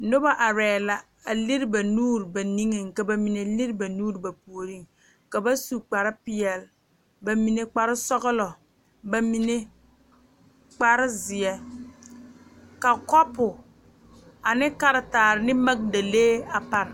Noba arɛɛ la a lere ba nuure ba nigeŋ ka ba mine lere ba nuure ba puoriŋ ka ba su kparepeɛlle ba mine kparesɔglɔ ba mine kparezeɛ ka kɔpo ane karetaare ne magedalee pare.